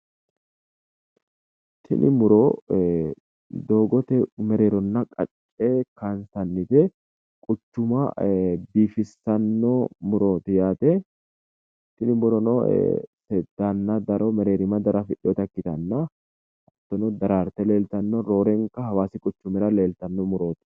Tini muro doogote mereeronna qacce kaansannite quchuma biifissanno murooti yaate tini murono seeddaanna daro mereerima daro afidheyota ikkitanna hattono daraarte leeltanno roorenka hawaasi quchumira leeltanno murooti.